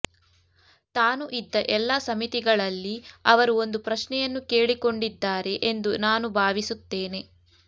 ತಾನು ಇದ್ದ ಎಲ್ಲಾ ಸಮಿತಿಗಳಲ್ಲಿ ಅವರು ಒಂದು ಪ್ರಶ್ನೆಯನ್ನು ಕೇಳಿಕೊಂಡಿದ್ದಾರೆ ಎಂದು ನಾನು ಭಾವಿಸುತ್ತೇನೆ